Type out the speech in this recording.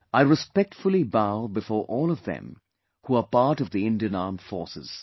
I respectfully bow before all of them who are part of the Indian Armed Forces